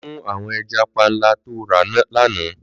Lò mú áwòn èjà pànlá tó rá làná